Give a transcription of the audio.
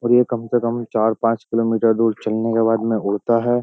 और ये कम से कम चार पांच किलोमीटर दूर चलने के बाद में उड़ता है।